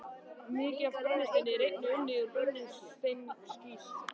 Mikið af brennisteini er einnig unnið úr brennisteinskís.